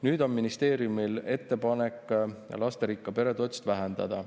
Nüüd on ministeeriumil ettepanek lasterikka pere toetust vähendada.